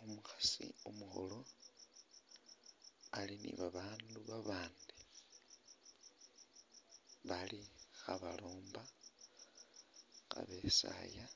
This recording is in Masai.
Umukhaasi umukhulu ali ni babandu babandi bali khabalomba nga besaaya